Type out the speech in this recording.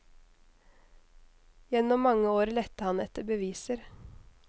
Gjennom mange år lette han etter beviser.